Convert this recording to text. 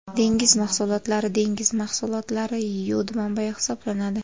Dengiz mahsulotlari Dengiz mahsulotlari yod manbayi hisoblanadi.